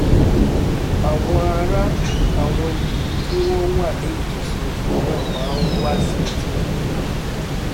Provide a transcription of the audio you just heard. àwọn ará àwọn ilú tí wọ́n wà ní ìtòsí odò náà máa ń wá sí etí odò náà